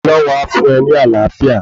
Ọlọ́hun a fún e ní Àlàáfíà